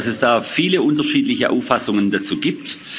Ich weiß, dass es viele unterschiedliche Auffassungen dazu gibt.